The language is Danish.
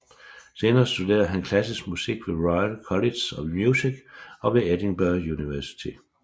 Senere studerede han klassisk musik ved Royal College of Music og ved Edinburgh Universitet